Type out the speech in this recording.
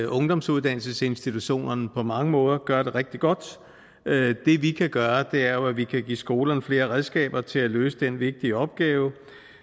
ungdomsuddannelsesinstitutionerne på mange måder gør det rigtig godt det vi kan gøre er jo at vi kan give skolerne flere redskaber til at løse den vigtige opgave